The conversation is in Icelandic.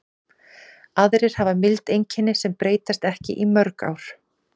Aðrir hafa mild einkenni sem breytast ekki í mörg ár.